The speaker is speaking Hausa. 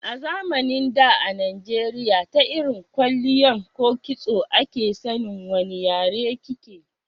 A zamanin da a najeriya ta irin kwalliyan ko kitso a ke san wani yare ki ke